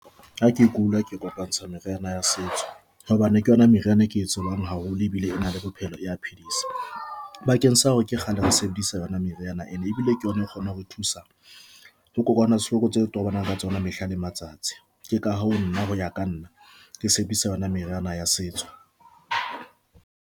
Ha ke kula ke kopantsha meriana ya setso hobane ke yona meriana e ke tsebang haholo ebile e na le bophelo ya phedisa bakeng sa hore ke kgale re sebedisa yona meriana and ebile ke yona e kgona ho re thusa ho kokwanahloko tse tobanang le tsona ka mehla le matsatsi. Ke ka hoo nna ho ya ka nna ke sebedisa yona meriana ya setso.